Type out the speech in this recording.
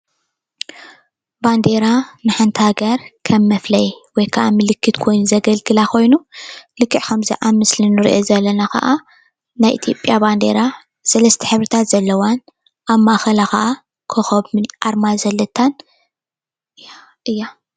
ባንዴራ ንሓንቲ ሃገር ከም መፍለይ ወይ ከዓ ምልክት ኮይኑ ዘገልግላ ኮይኑ ልክዕ ከም እንሪኦ ዘለና ከዓ ናይ ኢ/ያ ባንዴራ ክዓ ሰለስተ ሕብርታት ዘለዋን ኣብ ማእከላ ክዓ ኮከብ ኣርማ ዘለታን እያ፡፡